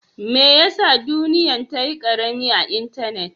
Mai ya sa duniyya'n ta yi karemi a'intenet?